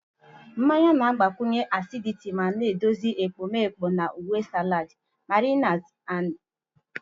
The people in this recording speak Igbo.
Mmanya na-agbakwụnye acidity ma na-edozi ekpomeekpo na uwe salad, marinades, na ihendori.